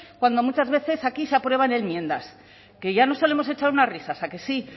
cuando muchas veces aquí se aprueban enmiendas que ya nos solemos echar unas risas a que sí